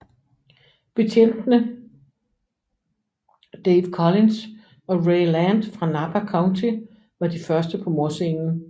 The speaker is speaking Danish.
Betjentene Dave Collins og Ray Land fra Napa County var de første på mordscenen